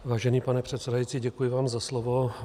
Vážený pane předsedající, děkuji vám za slovo.